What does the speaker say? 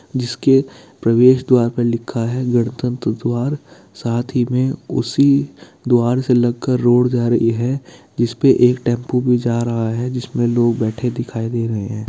जिसके प्रवेश द्वार पर लिखा है गणतंत्र द्वार साथ ही में उसी द्वार से लगकर रोड जा रही है जिस पे एक टेम्पो भी जा रहा है जिसमे लोग बैठे दिखाई दे रहे है।